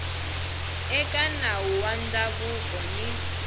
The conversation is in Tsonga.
eka nawu wa ndhavuko ni